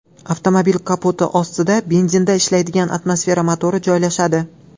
Avtomobil kapoti ostida benzinda ishlaydigan atmosfera motori joylashadi.